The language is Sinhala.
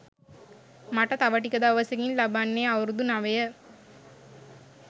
මට තව ටික දවසකින් ලබන්නේ අවුරුදු නවය.